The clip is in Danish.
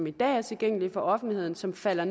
i dag er tilgængelige for offentligheden som falder